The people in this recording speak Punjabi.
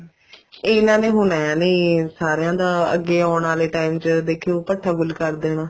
ਇਹਨਾ ਨੇ ਹੁਣ ਏਵੇਂ ਸਾਰੀਆਂ ਦਾ ਅੱਗੇ ਆਉਣ ਵਾਲੇ time ਚ ਦੇਖਿਓ ਭੁੱਠਾ ਗੁਲ ਕਰ ਦੇਣਾ